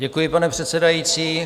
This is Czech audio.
Děkuji, pane předsedající.